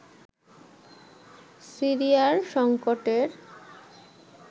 সিরিয়ার সংকটের